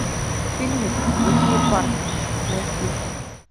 фильмик плохие парни найти